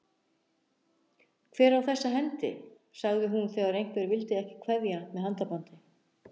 Hver á þessa hendi? sagði hún þegar einhver vildi ekki kveðja með handabandi.